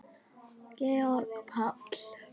Georg Páll.